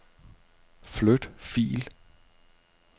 Flyt fil.